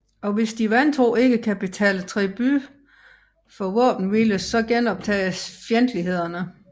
Og hvis de vantro ikke kan betale tribut for våbenhvile så genoptages fjendtlighederne